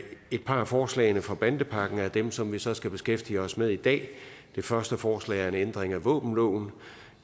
et par af forslagene fra bandepakken er dem som vi så skal beskæftige os med i dag det første forslag er en ændring af våbenloven